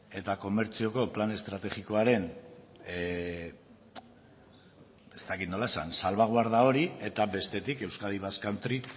eta komertzioko plan estrategikoaren ez dakit nola esan salbaguarda hori eta bestetik euskadi basque country